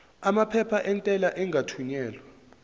amaphepha entela engakathunyelwa